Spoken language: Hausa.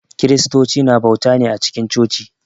Kiristocu na bauta ne a cikin coci.